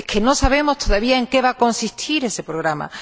pero no sabemos todavía en qué va a consistir ese programa.